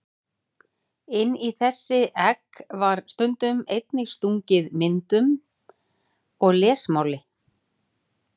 Inn í þessi egg var stundum einnig stungið myndum eða lesmáli.